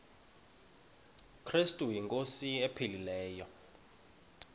krestu inkosi ephilileyo